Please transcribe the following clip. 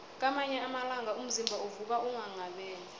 kwamanye amalanga umzimba uvuka unghanghabele